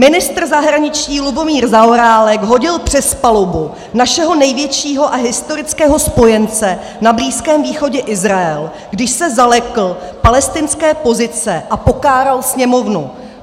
Ministr zahraničí Lubomír Zaorálek hodil přes palubu našeho největšího a historického spojence na Blízkém východě Izrael, když se zalekl palestinské pozice a pokáral Sněmovnu.